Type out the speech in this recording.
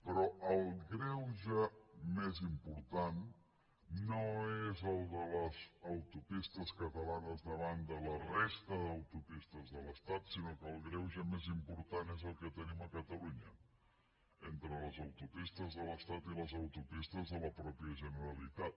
però el greuge més important no és el de les autopistes catalanes davant de la resta d’autopistes de l’estat sinó que el greuge més important és el que tenim a catalunya entre les autopistes de l’estat i les autopistes de la mateixa generalitat